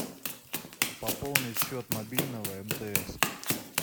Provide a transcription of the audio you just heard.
пополнить счет мобильного мтс